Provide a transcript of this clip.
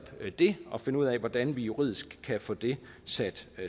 det og finde ud af hvordan vi juridisk kan få det sat